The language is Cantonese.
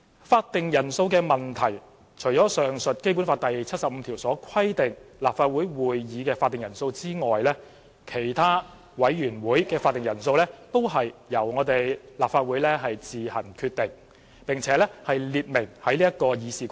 法定人數的問題，除了上述《基本法》第七十五條所規定立法會會議的法定人數外，其他委員會會議法定人數皆由立法會自行決定，並列明於《議事規則》。